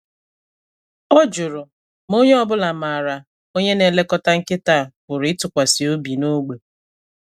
Ọ jụrụ ma onye ọ bụla maara onye na-elekọta nkịta a pụrụ ịtụkwasị obi n’ógbè.